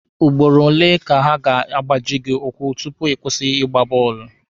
Ugboro ole ka ha ga-agbaji gị ụkwụ tupu ịkwụsị ịgba bọọlụ?